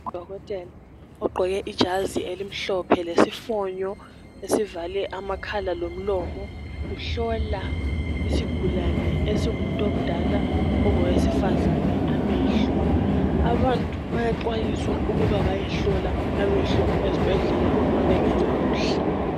Udokotela ogqqoke ijazi elimhlophe lesifonyo esivale amakhala lomlomo uhlola isigulane esingumuntu omdala ongowesufazana amehlo abantu bayaxhwayisws ukuba bayehlola amehlo ezibhendlela uma bengezwa kuhle.